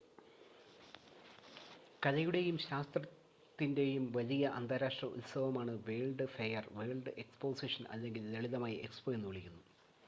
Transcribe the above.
കലയുടെയും ശാസ്ത്രത്തിന്റെയും വലിയ അന്താരാഷ്‌ട്ര ഉത്സവമാണ് വേൾഡ്സ് ഫെയർ വേൾഡ് എക്സ്പോസിഷൻ അല്ലെങ്കിൽ ലളിതമായി എക്സ്പോ എന്നുവിളിക്കുന്നു